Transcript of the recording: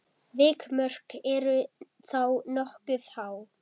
Vikmörk eru þá nokkuð há.